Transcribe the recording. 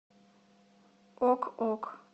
ок ок